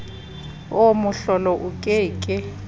oo mohlolo o ke ke